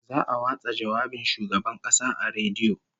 Za'a watsa jawabin Shugaban Kasa a rediyo